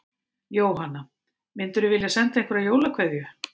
Jóhanna: Myndirðu vilja senda einhverja jólakveðju?